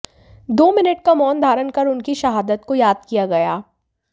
दो मिनट का मौन धारण कर उनकी शहादत को याद किया गया